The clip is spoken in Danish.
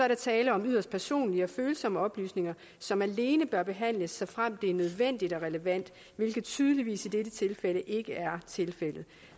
der tale om yderst personlige og følsomme oplysninger som alene bør behandles såfremt det er nødvendigt og relevant hvilket tydeligvis i dette tilfælde ikke er tilfældet